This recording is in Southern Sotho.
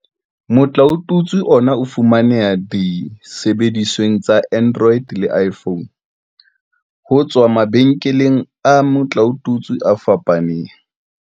Motlaotutswe ona o fumaneha disebedisweng tsa Android le iPhone, ho tswa mabenkeleng a metlaotutswe a fapaneng.